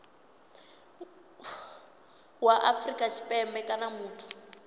wa afrika tshipembe kana muthu